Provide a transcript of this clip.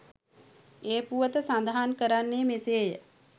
ඒ පුවත සඳහන් කරන්නේ මෙසේය.